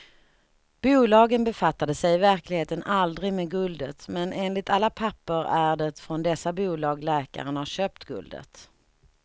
Bolagen befattade sig i verkligheten aldrig med guldet, men enligt alla papper är det från dessa bolag läkaren har köpt guldet.